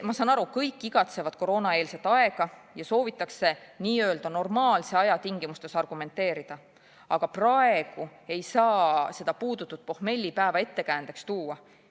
Ma saan aru, kõik igatsevad koroonaeelset aega ja soovitakse n-ö normaalse aja tingimustes argumenteerida, aga praegu ei saa seda puudutud pohmellipäeva ettekäändeks tuua.